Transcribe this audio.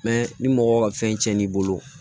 ni mɔgɔ ka fɛn tiɲɛn'i bolo